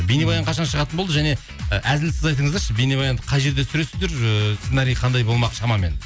бейнебаян қашан шығатын болды және і әзілсіз айтыңыздаршы бейнебаянды қай жерде түсіресіздер ыыы сценарий қандай болмақ шамамен